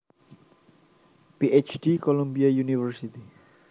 Ph D Columbia University